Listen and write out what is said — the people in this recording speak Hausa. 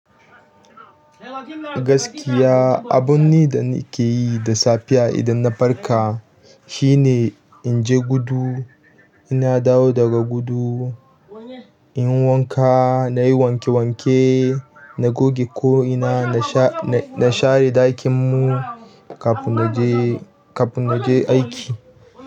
Gaskiya, abun ni da nake yi da safiya idan na farka shine in je gudu, inna dawo daga gudu, inyi wanka, na yi wanke wanke, na goge ko'ina, na sha, na share ɗakin mu kafin na je, kafin na je aiki.